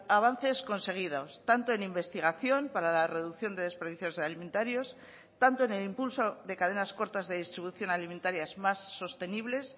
avances conseguidos tanto en investigación para la reducción de desperdicios alimentarios tanto en el impulso de cadenas cortas de distribución alimentarias más sostenibles